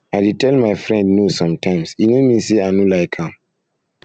i dey tell my friend no sometimes e no mean sey i no like am